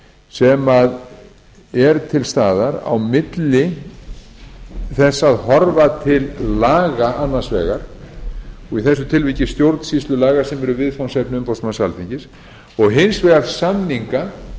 sem er til staðar á milli þess að horfa til laga annars vegar og í þessu tilviki stjórnsýslulaga sem eru viðfangsefni umboðsmanns alþingis og hins vegar samninga